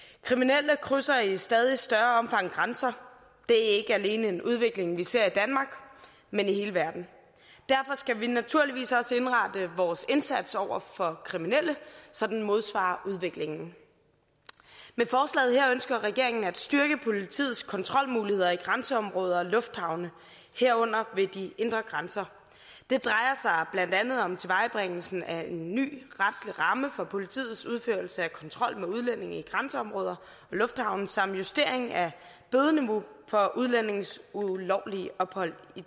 kriminelle krydser i stadig større omfang grænser det er ikke alene en udvikling vi ser i danmark men i hele verden derfor skal vi naturligvis også indrette vores indsats over for kriminelle så den modsvarer udviklingen med forslaget her ønsker regeringen at styrke politiets kontrolmuligheder i grænseområder og lufthavne herunder ved de indre grænser det drejer sig blandt andet om tilvejebringelse af en ny retslig ramme for politiets udførelse af kontrol med udlændinge i grænseområder og lufthavne samt justering af bødeniveauet for udlændinges ulovlige ophold i